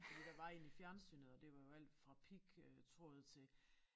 Fordi der var en i fjernsynet og det var jo alt fra pig øh tråd til